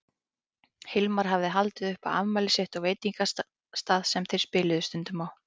Hilmar hafði haldið upp á afmælið sitt á veitingastað sem þeir spiluðu stundum á.